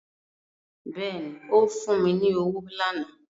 Bẹ́ẹ̀ni ó fún mi ní owó lánàá